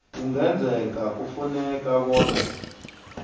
kungenzeka kufuneke bona